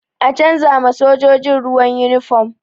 An canza ma sojojin ruwa yunifom